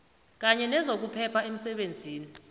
kanye nezokuphepha emsebenzini